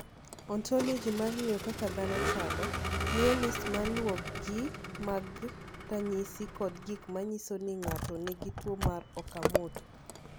"Ontoloji mar ng’eyo kaka dhano chalo, miyo list ma luwogi mag ranyisi kod gik ma nyiso ni ng’ato nigi tuwo mar Okamoto."